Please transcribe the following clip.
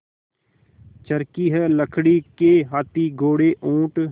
चर्खी है लकड़ी के हाथी घोड़े ऊँट